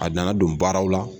A nan don baaraw la.